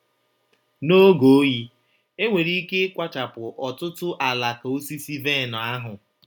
N’oge oyi, e nwere ike ịkwachapụ ọtụtụ alaka osisi vaịn ahụ